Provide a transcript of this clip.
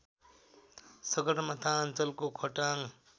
सगरमाथा अञ्चलको खोटाङ